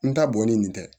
N ta bɔnnen nin tɛ